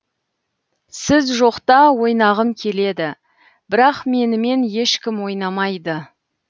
сіз жоқта ойнағым келеді бірақ менімен ешкім ойнамайды